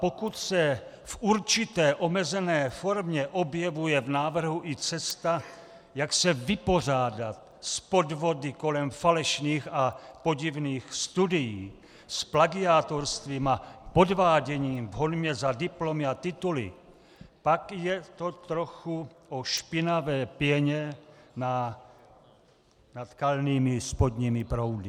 Pokud se v určité omezené formě objevuje v návrhu i cesta, jak se vypořádat s podvody kolem falešných a podivných studií, s plagiátorstvím a podváděním v honbě za diplomy a tituly, pak je to trochu po špinavé pěně nad kalnými spodními proudy.